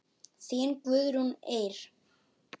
Þín Guðrún Eir.